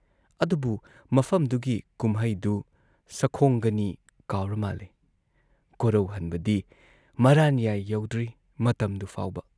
ꯑꯗꯨꯕꯨꯨ ꯃꯐꯝꯗꯨꯒꯤ ꯀꯨꯝꯍꯩꯗꯨ ꯁꯈꯣꯡꯒꯅꯤ ꯀꯥꯎꯔ ꯃꯥꯜꯂꯦ ꯀꯣꯔꯧꯍꯟꯕꯗꯤ ꯃꯔꯥꯟꯌꯥꯏ ꯌꯧꯗ꯭ꯔꯤ ꯃꯇꯝꯗꯨ ꯐꯥꯎꯕ ꯫